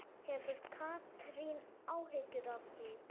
Hefur Katrín áhyggjur af því?